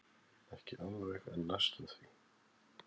Ekki alveg en næstum því.